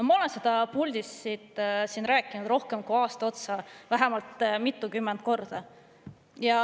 Ma olen seda rääkinud siit puldist rohkem kui aasta ja vähemalt mitukümmend korda.